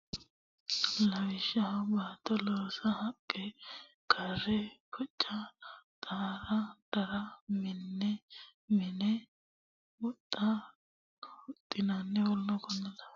Lawishshaho baatto loosa haqqe kare boca xarra dare mine mina huxxa huxxanna w k l mini gobbaanni loonsanni labballu loossaati Lawishshaho baatto.